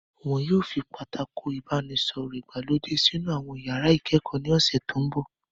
Wọn yóò fi Pátákó ìbánisọ̀rọ̀ ìgbàlódé sínú àwọn iyàrá ìkẹ́kọ̀ọ́ ní ọ̀sẹ̀ tó mbọ̀